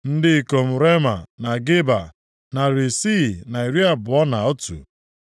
Ndị ikom Rema na Geba, narị isii na iri abụọ na otu (621).